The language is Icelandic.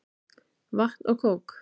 Vatn og kók.